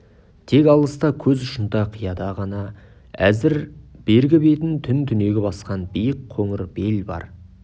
тек алыста көз ұшында қияда ғана әзір бергі бетін түн түнегі басқан биік қоңыр бел бар